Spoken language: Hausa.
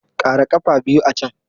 Ƙara ƙafa biyu a can!